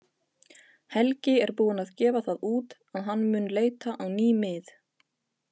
Helgi er búinn að gefa það út að hann mun leita á ný mið.